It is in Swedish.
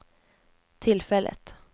tillfället